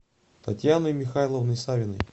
татьяной михайловной савиной